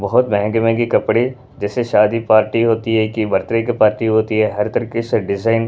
बहुत महंगे-महंगे कपड़े जैसे- शादी पार्टी होती हैकि बर्थ -डे की पार्टी होती है हर तरीके से डिजाइन --